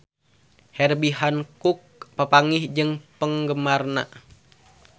Herbie Hancock papanggih jeung penggemarna